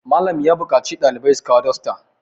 Malam ya buƙaci ɗalibai su kawo dosta